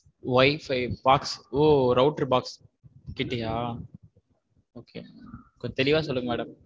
Wifi box ஒ router box கிட்டயா? okay கொஞ்சம் தெளிவா சொல்லுங்க madam.